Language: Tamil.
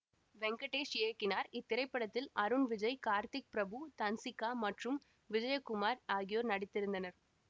வெங்கடேஷ் இயக்கினார் இத்திரைப்படத்தில் அருண் விஜய் கார்த்திக் பிரபு தன்சிகா மற்றும் விஜயகுமார் ஆகியோர் நடித்திருந்தனர்